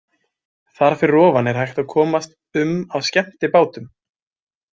Þar fyrir ofan er hægt að komast um á skemmtibátum.